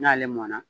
N'ale mɔna